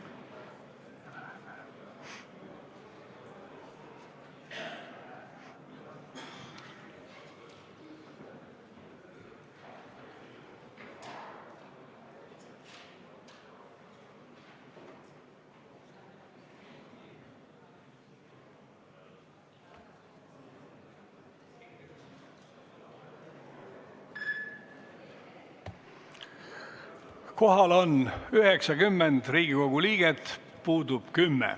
Kohaloleku kontroll Kohal on 90 Riigikogu liiget, puudub 10.